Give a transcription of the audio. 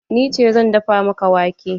Ni ce zan dafa maka wake.